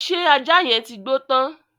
Ṣé ajá yẹn ti gbó tán?